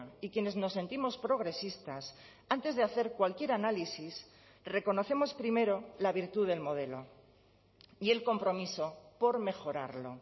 y quienes nos sentimos progresistas antes de hacer cualquier análisis reconocemos primero la virtud del modelo y el compromiso por mejorarlo